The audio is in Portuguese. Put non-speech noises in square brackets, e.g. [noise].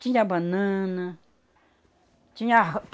Tinha banana. Tinha [unintelligible]